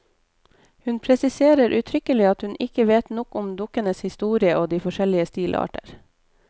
Hun presiserer uttrykkelig at hun ikke vet nok om dukkenes historie og de forskjellige stilarter.